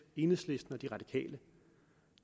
enhedslisten og de radikale